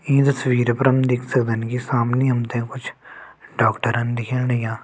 ई तस्वीर पर हम देख सक्दन की सामने हम त कुछ डॉक्टरन दिखेण लग्यां।